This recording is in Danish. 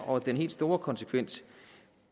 og den helt store konsekvens